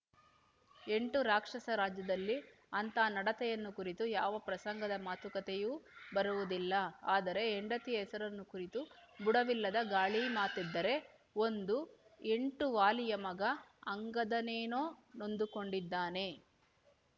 ಎಂಟು ರಾಕ್ಷಸ ರಾಜ್ಯದಲ್ಲಿ ಅಂಥ ನಡತೆಯನ್ನು ಕುರಿತು ಯಾವ ಪ್ರಸಂಗದ ಮಾತುಕತೆಯೂ ಬರುವುದಿಲ್ಲ ಆದರೆ ಹೆಂಡತಿಯ ಹೆಸರನ್ನು ಕುರಿತು ಬುಡವಿಲ್ಲದ ಗಾಳಿಮಾತೆದ್ದರೆ ಒಂದು ಎಂಟು ವಾಲಿಯ ಮಗ ಅಂಗದನೇನೊ ನೊಂದುಕೊಂಡಿದ್ದಾನೆ